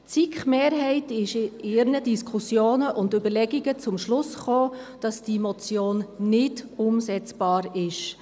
Die SiK-Mehrheit ist in ihren Diskussionen und Überlegungen zum Schluss gekommen, dass diese Motion nicht umsetzbar ist.